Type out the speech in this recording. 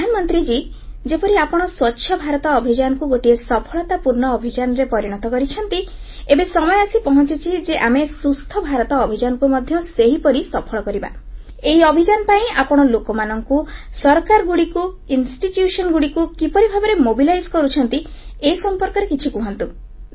ପ୍ରଧାନମନ୍ତ୍ରୀ ମହୋଦୟ ଯେପରି ଆପଣ ସ୍ୱଚ୍ଛ ଭାରତ ଅଭିଯାନକୁ ଗୋଟିଏ ସଫଳତା ପୂର୍ଣ୍ଣ ଅଭିଯାନରେ ପରିଣତ କରିଛନ୍ତି ଏବେ ସମୟ ଆସି ପହଂଚିଛି ଯେ ଆମେ ସୁସ୍ଥ ଭାରତ ଅଭିଯାନକୁ ମଧ୍ୟ ସେହିପରି ସଫଳ କରିବା ଏହି ଅଭିଯାନ ପାଇଁ ଆପଣ ଲୋକମାନଙ୍କୁ ସରକାରମାନଙ୍କୁ ପ୍ରତିଷ୍ଠାନଗୁଡ଼ିକୁ କିପରି ଭାବରେ ସମନ୍ୱିତ ପ୍ରୟାସରେ ଯୋଡୁଛନ୍ତି ଏ ସମ୍ପର୍କରେ କିଛି କୁହନ୍ତୁ